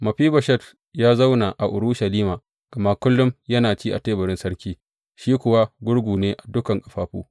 Mefiboshet ya zauna a Urushalima, gama kullum yana ci a teburin sarki, shi kuwa gurgu ne a dukan ƙafafu.